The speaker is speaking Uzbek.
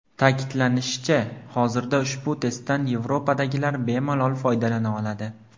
Ta’kidlanishicha, hozirda ushbu testdan Yevropadagilar bemalol foydalana oladi.